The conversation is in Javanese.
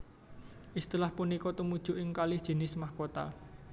Istilah punika tumuju ing kalih jinis mahkota